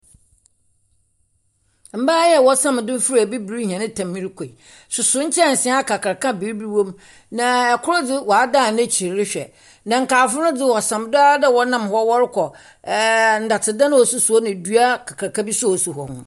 Mbaa yi a wɔsam do fura abibir hɛn tam rokɔ yi, soso nkyɛnsee akakraka a biribi wom, na kor dze, wɔadan n'ekyir rehwɛ. Na nkaefo no do wɔsam do ara dɛ wɔnam hɔ wɔrokɔ. Ɛɛ . Ndɔtedan a osisi hɔ ne dua akakraka bi nso a osi hɔ.